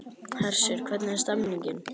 Hersir, hvernig er stemningin?